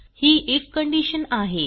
he if condition आहे